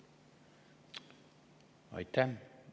Aitäh!